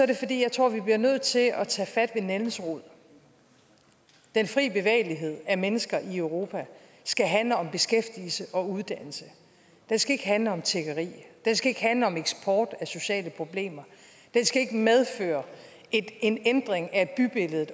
det fordi jeg tror at vi bliver nødt til at tage fat om nældens rod den fri bevægelighed af mennesker i europa skal handle om beskæftigelse og uddannelse den skal ikke handle om tiggeri den skal ikke handle om eksport af sociale problemer den skal ikke medføre en ændring af bybilledet